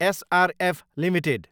SRF Ltd